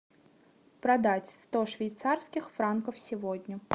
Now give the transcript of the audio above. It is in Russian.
продать сто швейцарских франков сегодня